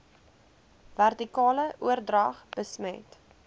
vertikale oordrag besmet